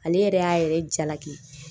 Ale yɛrɛ y'a yɛrɛ jalaki